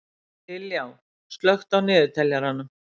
Liljá, slökktu á niðurteljaranum.